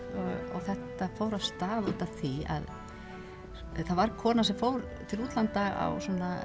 og þetta fór af stað út af því að það var kona sem fór til útlanda á